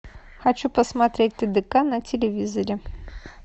хочу посмотреть тдк на телевизоре